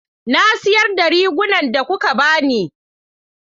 Na sayar da rigunan da kuka ba ni.